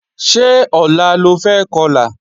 Ṣé ọ̀la lo fẹ́ Kọlà?